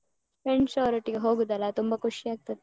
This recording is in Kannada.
Friends ಅವರೊಟ್ಟಿಗೆ ಹೋಗೂದಲ ತುಂಬ ಖುಷಿ ಆಗ್ತದೆ.